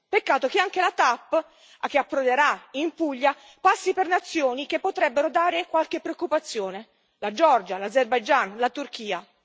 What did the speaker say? Peccato che anche la TAP, che approderà in Puglia, passi per nazioni che potrebbero dare qualche preoccupazione la Georgia, l'Azerbaigian, la Turchia.